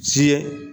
Ci ye